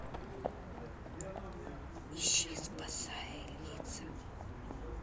ищи спасая лица